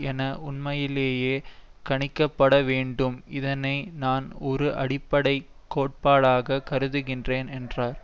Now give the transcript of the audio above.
என உண்மையிலேயே கணிக்கப்படவேண்டும் இதனை நான் ஒரு அடிப்படை கோட்பாடாக கருதுகின்றேன் என்றார்